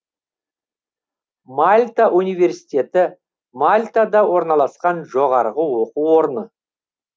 мальта университеті мальтада орналасқан жоғарғы оқу орны